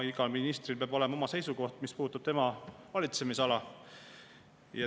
Igal ministril peab olema oma seisukoht, mis puudutab tema valitsemisala.